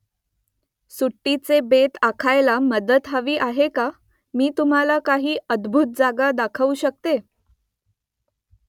सुट्टीचे बेत आखायला मदत हवी आहे का मी तुम्हाला काही अद्भूत जागा दाखवू शकतो ?